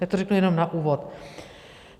Tak to řeknu jenom na úvod.